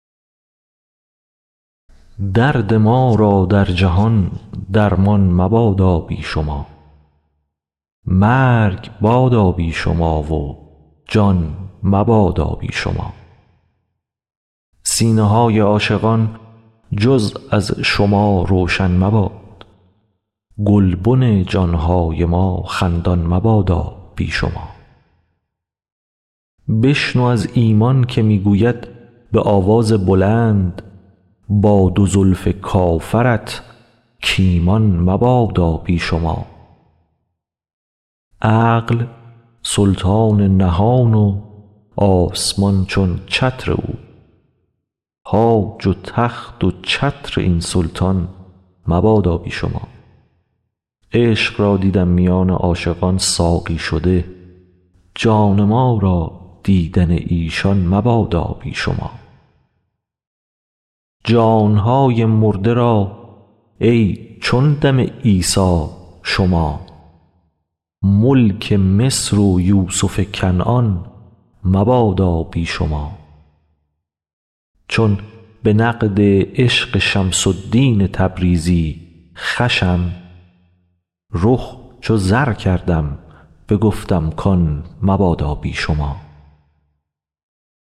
درد ما را در جهان درمان مبادا بی شما مرگ بادا بی شما و جان مبادا بی شما سینه های عاشقان جز از شما روشن مباد گلبن جان های ما خندان مبادا بی شما بشنو از ایمان که می گوید به آواز بلند با دو زلف کافرت کایمان مبادا بی شما عقل سلطان نهان و آسمان چون چتر او تاج و تخت و چتر این سلطان مبادا بی شما عشق را دیدم میان عاشقان ساقی شده جان ما را دیدن ایشان مبادا بی شما جان های مرده را ای چون دم عیسی شما ملک مصر و یوسف کنعان مبادا بی شما چون به نقد عشق شمس الدین تبریزی خوشم رخ چو زر کردم بگفتم کان مبادا بی شما